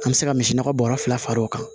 An bɛ se ka misi nɔgɔ bɔrɔ fila fara o kan